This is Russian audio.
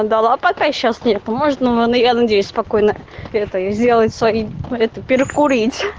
дала пока сейчас не поможет я надеюсь спокойно это сделать свои перекурить